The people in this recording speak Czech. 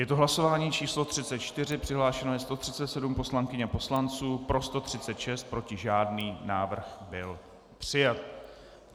Je to hlasování číslo 34, přihlášeno je 137 poslankyň a poslanců, pro 136, proti žádný, návrh byl přijat.